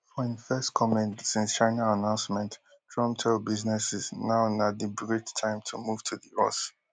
for im first comment since china announcement trump tell businesses now na di great time to move to di us